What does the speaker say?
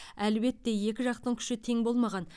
әлбетте екі жақтың күші тең болмаған